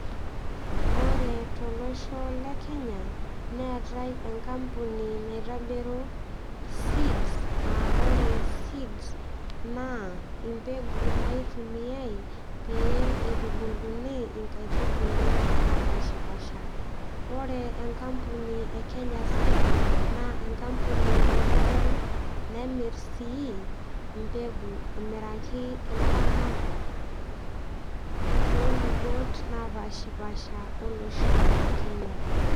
Ore tolosho lekenya neetae enkampuni naitobiru seeds aaa ore seeds naa impegu naitubuiay pee itubuluni nkaitubulu napshapasha . Ore enkampuni ekenya seed naa enkampuni naitobiru nemir sii]cs] mbegu amiraki ilaramatak tolubot napashapasha olosho lekenya .